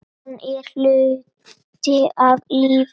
Hann er hluti af lífinu.